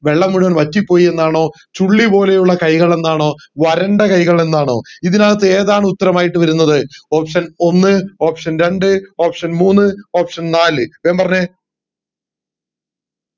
വെള്ളം മുഴുവൻ വറ്റിപോയി എന്നാണോ ചുള്ളി പോലെയുള്ള കൈകൾ എന്നാണോ വരണ്ട കൈകൾ എന്നാണോ ഇതിനകത്ത് ഏതാണ് ഉത്തരമായിട്ട് വരുന്നത് option ഒന്ന് option രണ്ട് option മൂന്ന് option നാല് വേഗം പറഞ്ഞെ